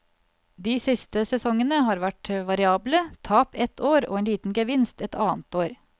De siste sesongene har vært variable, tap et år og en liten gevinst et annet år.